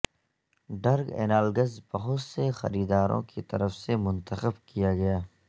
drug analogues بہت سے خریداروں کی طرف سے منتخب کیا گیا